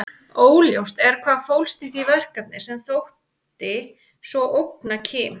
Óljóst er hvað fólst í því verkefni sem þótti svo ógna Kim.